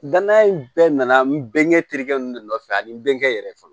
Danaya in bɛɛ nana nɛn terikɛ ninnu de nɔfɛ ani n bɛ kɛ yɛrɛ fɔlɔ